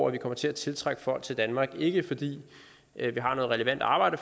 at vi kommer til at tiltrække folk til danmark ikke fordi vi har noget relevant arbejde